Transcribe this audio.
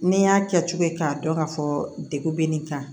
N'i y'a kɛ cogo ye k'a dɔn ka fɔ degun be nin kan